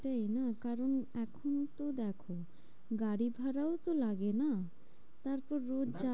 সেই না কারণ এখন তো দেখো, গাড়ি ভাড়াও তো লাগে না? তারপর হ্যাঁ রোজ